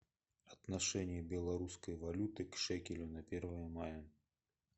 отношение белорусской валюты к шекелю на первое мая